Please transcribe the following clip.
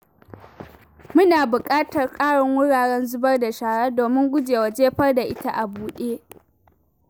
Muna buƙatar karin wuraren zubar da shara domin gujewa jefar da ita a buɗe.